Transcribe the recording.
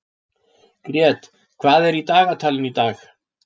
Grét, hvað er í dagatalinu í dag?